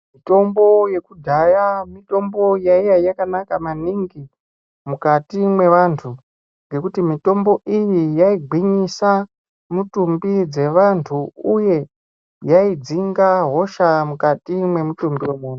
Mitombo yakudhaya mitombo yaiya yakanaka maningi mukati mwevantu ngekuti mitombo iyi yaigwinyisa mitumbi dzevantu, uye yaidzinga hosha mukati mwemutumbi vemuntu.